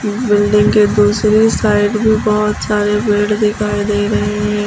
Building के दूसरे side भी बहोत सारे पेड़ दिखाई दे रहे हैं।